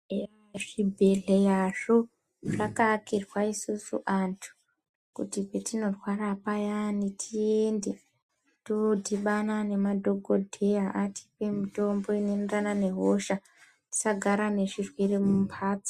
Ezvibhedhleyazvo zvakaakirwa isusu vantu kuti petinorwara payani tiende todhibana nemadhokodheya atipe mutombo unoenderana nehosha tisagara nezvirwere mumpatso.